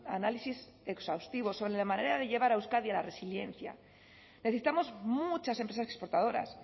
análisis exhaustivo sobre la manera de llevar a euskadi a la resiliencia necesitamos muchas empresas exportadoras